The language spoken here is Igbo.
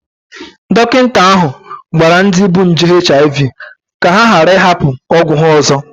Dọkịta ahụ gwara ndị bu nje HIV ka ha ghara ịhapụ ọgwụ ya ọzọ